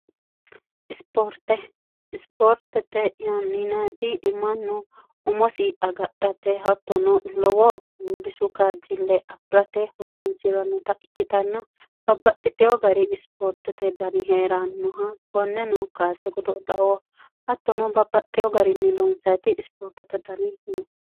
isoorteisipoortete yanninati imannu umosi agadhate hattono lowoo bisu kaajjille afi'rate holonsi'ranota ikkitanna babpaxxitiho gari ispoortete dani hee'raannoha konneno kaase godo lao hattono babbaxxeho gariinni loonseati ispoortete dani no